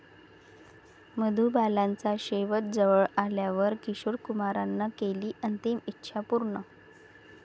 मधुबालाचा शेवट जवळ आल्यावर किशोर कुमारनं केली अंतिम इच्छा पूर्ण